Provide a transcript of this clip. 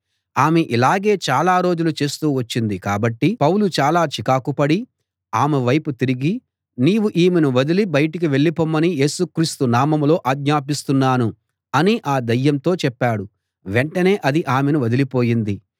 ఆమె ఇలాగే చాలా రోజులు చేస్తూ వచ్చింది కాబట్టి పౌలు చాలా చికాకు పడి ఆమె వైపు తిరిగి నీవు ఈమెను వదలి బయటికి వెళ్ళిపోమని యేసుక్రీస్తు నామంలో ఆజ్ఞాపిస్తున్నాను అని ఆ దయ్యంతో చెప్పాడు వెంటనే అది ఆమెను వదలిపోయింది